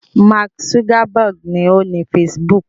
Mark Zuckerberg ni ó ni Facebook.